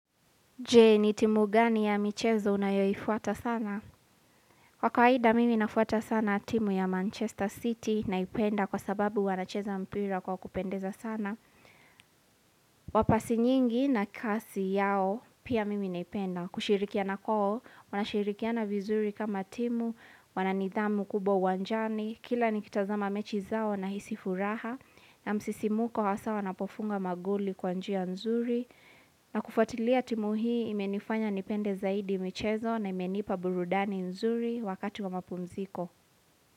Je, ni timu gani ya michezo unayoifuata sana? Kwa kawaida, mimi nafuata sana timu ya Manchester City naipenda kwa sababu wanacheza mpira kwa kupendeza sana. Wa pasi nyingi na kasi yao, pia mimi naipenda. Kushirikia kwao, wanashirikiana vizuri kama timu, wananidhamu kubwa uwanjani, kila nikitazama mechi zao nahisi furaha, na msisimuko hasa wanapofunga magoli kwa njia nzuri, na kufwatilia timu hii imenifanya nipende zaidi michezo na imenipa burudani nzuri wakati wa mapumziko.